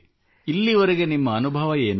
ಇಲ್ಲಿವರೆಗೆ ನಿಮ್ಮ ಅನುಭವವೇನು